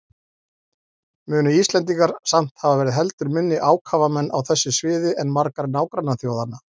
Munu Íslendingar samt hafa verið heldur minni ákafamenn á þessu sviði en margar nágrannaþjóðanna.